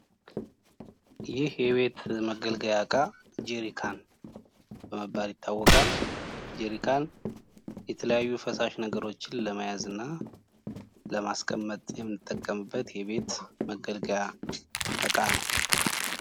ይህ የቤት መገልገያ እቃ ጀሪካን በመባል ይታወቃል። ጀሪካን የተለያዩ ፈሳሽ ነገሮችን ለመያዝ እና ለማስቀመጥ የምንጠቀምበት የቤት መገልገያ እቃ ነው።